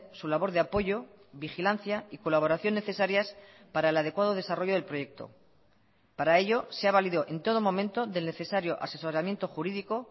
su labor de apoyo vigilancia y colaboración necesarias para el adecuado desarrollo del proyecto para ello se ha valido en todo momento del necesario asesoramiento jurídico